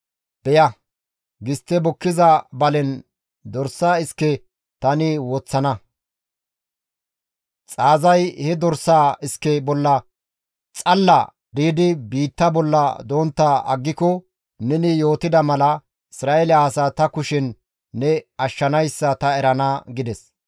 Beya, gistte bukkiza balen dorsa iske tani woththana; xaazay he dorsaa iske bolla xalla diidi biitta bolla dontta aggiko neni yootida mala, Isra7eele asaa ta kushen ne ashshanayssa ta erana» gides.